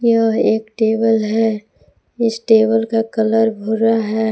यह एक टेबल है इस टेबल का कलर भूरा है।